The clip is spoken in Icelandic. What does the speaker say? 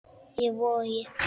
Í Vogi.